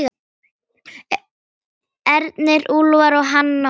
Ernir, Úlfar og Hanna Matta.